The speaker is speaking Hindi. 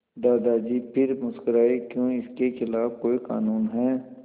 दादाजी फिर मुस्कराए क्यों इसके खिलाफ़ कोई कानून है